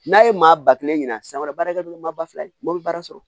N'a ye maa ba kelen ɲina san wɛrɛ barakɛdon maa ba fila mɔbili baara sɔrɔ